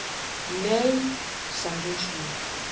"""Nei, sagði hún svo."""